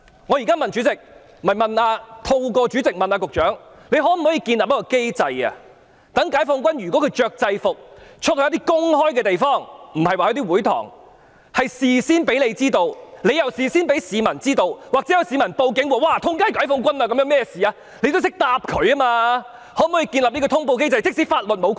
我現在透過代理主席詢問局長，局方可否建立機制，解放軍如要穿着制服外出到公眾地方，請事先通知局方，再由局方通知市民，這樣即使有市民向警方報案，指街道四周有解放軍，不知發生甚麼事，當局也懂得如何回答。